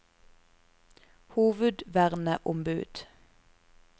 hovedverneombud